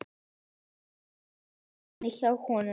Og Kolbrún inni hjá honum.